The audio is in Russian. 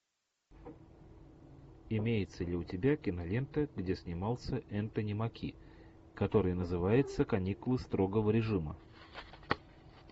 имеется ли у тебя кинолента где снимался энтони маки который называется каникулы строгого режима